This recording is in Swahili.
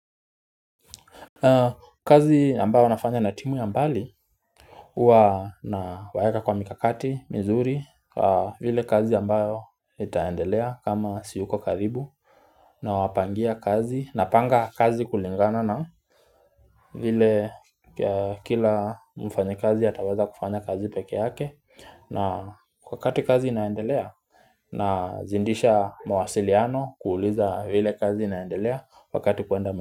Kazi ambayo nafanya na timu ya mbali, Uwa na waeka kwa mikakati, mizuri vile kazi ambayo itaendelea kama siyuko karibu Nawapangia kazi napanga kazi kulingana na vile kila mfanyakazi ataweza kufanya kazi pekee yake na kwa kati kazi inaendelea na zindisha mawasiliano kuuliza vile kazi inaendelea Wakati kuenda.